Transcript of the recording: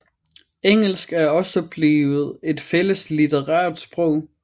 Engelsk er også blevet et fælles litterært sprog